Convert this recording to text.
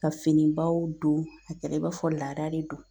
Ka finibaw don a kɛra i b'a fɔ laada de don